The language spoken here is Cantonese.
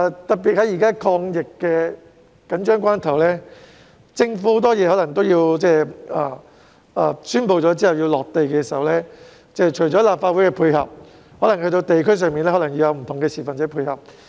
特別是，現時是抗疫的緊張關頭，政府的多項措施在宣布並在地區推行時除需要立法會配合外，亦需要在地區上的市民配合。